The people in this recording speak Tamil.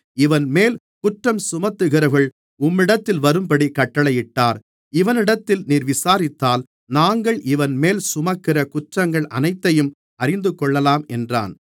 இவன்மேல் குற்றஞ்சுமத்துகிறவர்கள் உம்மிடத்தில் வரும்படி கட்டளையிட்டார் இவனிடத்தில் நீர் விசாரித்தால் நாங்கள் இவன்மேல் சுமத்துகிற குற்றங்கள் அனைத்தையும் அறிந்துகொள்ளலாம் என்றான்